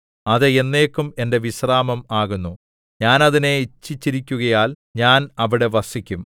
അത് എന്നേക്കും എന്റെ വിശ്രാമം ആകുന്നു ഞാൻ അതിനെ ഇച്ഛിച്ചിരിക്കുകയാൽ ഞാൻ അവിടെ വസിക്കും